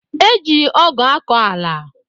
E ji ọgụ akọ ala